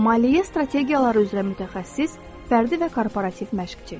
Maliyyə strategiyaları üzrə mütəxəssis, fərdi və korporativ məşqçi.